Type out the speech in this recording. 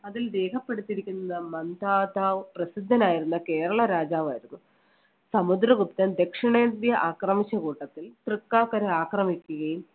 അതിൽ രേഖപ്പെടുത്തിയിരിക്കുന്നത് മന്ദാതാ പ്രസിദ്ധനായിരുന്ന കേരള രാജാവായിരുന്നു. സമുദ്രഗുപ്തൻ ദക്ഷിണേന്ത്യ ആക്രമിച്ച കൂട്ടത്തിൽ തൃക്കാക്കര ആക്രമിക്കുകയും